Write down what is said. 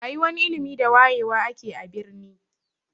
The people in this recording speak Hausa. Rayuwan ilimi da wayewa ake a birni.